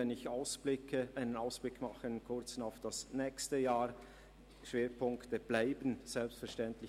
Wenn ich einen Ausblick aufs nächste Jahr mache, sind folgende Schwerpunktthemen zu erwähnen: